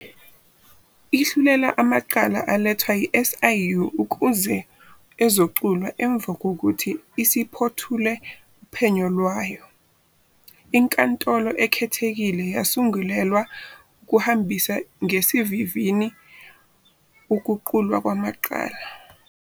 Ihlulela amacala alethwa i-SIU ukuze ezoqulwa emuva kokuthi isiphothule uphenyo lwayo. INkantolo Ekhethekile yasungulelwa ukuhambisa ngesivinini ukuqulwa kwamacala.